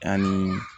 Ani